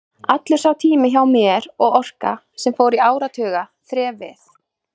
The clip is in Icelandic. Allur sá tími hjá mér og orka, sem fór í áratuga þref við